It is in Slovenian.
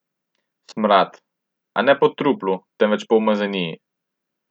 Smrad, a ne po truplu, temveč po umazaniji.